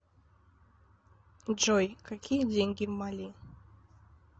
джой какие деньги в мали